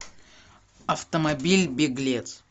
автомобиль беглец